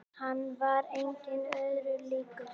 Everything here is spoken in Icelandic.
Hann var engum öðrum líkur.